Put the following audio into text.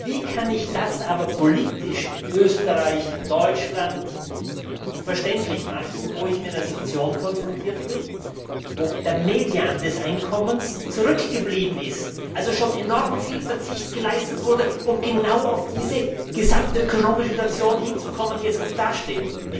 Wie kann ich das aber politisch in Österreich, in Deutschland verständlich machen, wo ich mit einer Situation konfrontiert bin, wo der Median des Einkommens zurückgegangen ist, also schon enorm viel Verzicht geleistet wurde, um genau auf diese gesamtökonomische Situation hinzukommen, die jetzt gut dasteht?